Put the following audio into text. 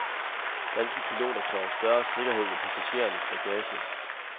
Danske piloter kræver større sikkerhed med passagerernes bagage.